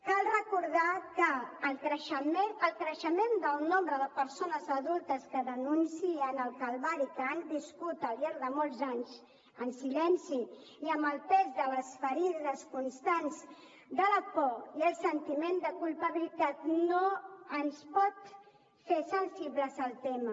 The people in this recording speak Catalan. cal recordar que el creixement del nombre de persones adultes que denuncien el calvari que han viscut al llarg de molts anys en silenci i amb el pes de les ferides constants de la por i el sentiment de culpabilitat no ens pot fer insensibles al tema